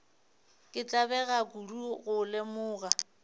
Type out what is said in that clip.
ka tlabega kudu go lemoga